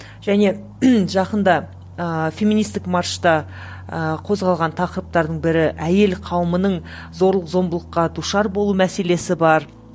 және жақында ыыы феминистік маршта ыыы қозғалған тақырыптардың бірі әйел қауымының зорлық зомбылыққа душар болу мәселесі бар